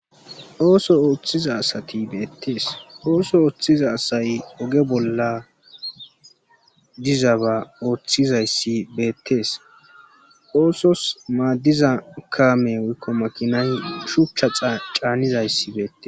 Ooso ooththiza asati beettees ooso ooththiza asay oge bolla diza ba ooththizayssi beettees oosos maaddiza kaame woykko makinay shuchcha caanizayssi beette.